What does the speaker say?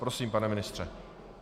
Prosím, pane ministře.